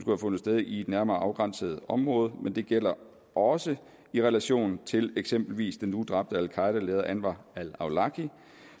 have fundet sted i et nærmere afgrænset område men det gælder også i relation til eksempelvis den nu dræbte al qaeda leder anwar al awlaki